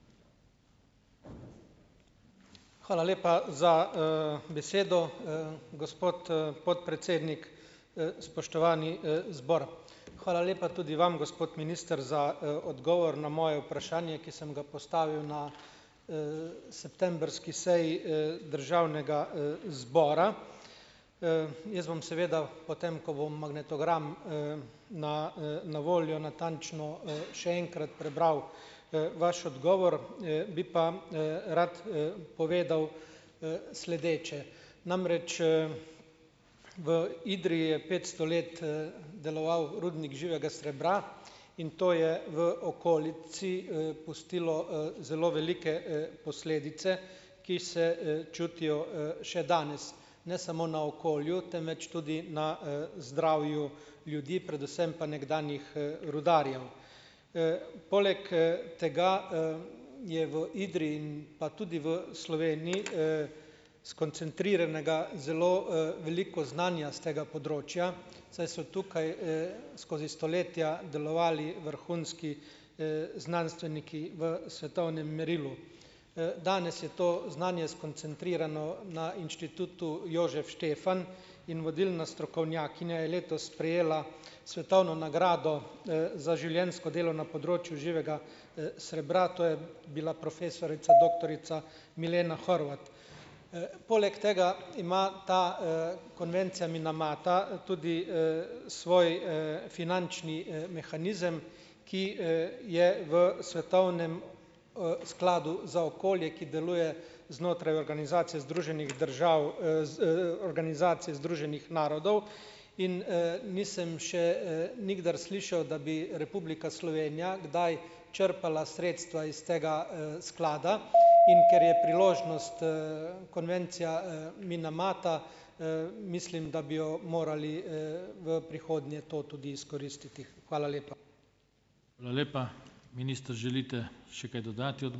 Hvala lepa za, besedo, gospod, podpredsednik, spoštovani, zbor. Hvala lepa tudi vam, gospod minister, za, odgovor na moje vprašanje, ki sem ga postavil na, septembrski seji, državnega, zbora. Jaz bom seveda, potem ko bo magnetogram, na, na voljo, natančno, še enkrat prebral, vaš odgovor, bi pa, rad, povedal, sledeče. Namreč, v Idriji je petsto let, deloval rudnik živega srebra in to je v okolici, pustilo, zelo velike, posledice, ki se, čutijo, še danes. Ne samo na okolju, temveč tudi na, zdravju ljudi, predvsem pa nekdanjih, rudarjev. Poleg, tega, je v Idriji, in pa tudi v Sloveniji, skoncentriranega zelo, veliko znanja s tega področja, saj so tukaj, skozi stoletja delovali vrhunski, znanstveniki v svetovnem merilu. Danes je to znanje skoncentrirano na Inštitutu Jožef Štefan in vodilna strokovnjakinja je letos prejela svetovno nagrado, za življenjsko delo na področju živega, srebra. To je bila profesorica doktorica Milena Horvat. Poleg tega ima ta, konvencija Minamata tudi, svoj, finančni, mehanizem, ki, je v svetovnem, skladu za okolje, ki deluje znotraj organizacije Združenih držav Organizacije združenih narodov, in, nisem še, nikdar slišal, da bi Republika Slovenija kdaj črpala sredstva iz tega, sklada. In ker je priložnost, konvencija, Minamata, mislim, da bi jo morali, v prihodnje to tudi izkoristiti. Hvala lepa.